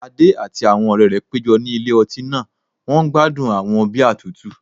Adé àti àwọn ọ̀rẹ́ rẹ̀ péjọ ní ilé ọtí náà wọ́n gbádùn àwọn bíà tútù